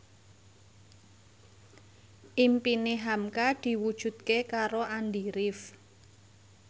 impine hamka diwujudke karo Andy rif